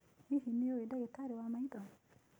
Hihi nĩ ũĩ ndagĩtarĩ wa maitho?